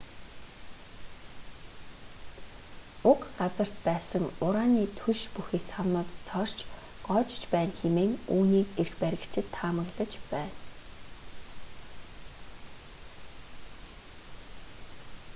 уг газарт байсан ураны түлш бүхий савнууд цоорч гоожиж байна хэмээн үүнийг эрх баригчид таамаглаж байна